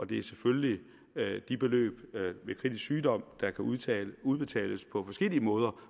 det er selvfølgelig de beløb ved kritisk sygdom der kan udbetales udbetales på forskellige måder